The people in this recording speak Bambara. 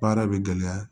Baara bɛ gɛlɛya